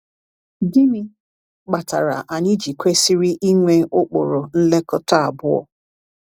Gịnị kpatara anyị ji kwesịrị ịnwe ụkpụrụ nlekọta abụọ?